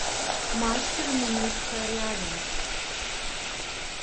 мастер минутка рядом